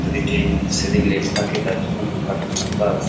যদি ট্রেন সেদিন লেট থাকে তার জন্য থাকার ব্যবস্থা আছে।